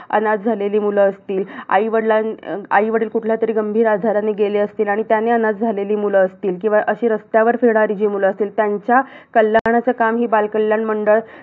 अनाथ झालेली मुलं असतील. आईवडील आईवडील कुठल्यातरी गंभीर आजाराने गेले असतील, आणि त्यांनी अनाथ झालेली मुलं असतील. किंवा अशी रस्त्यावर फिरणारी जी मुलं असतील. त्यांच्या कल्याणाचं काम ही बालकल्याण मंडळं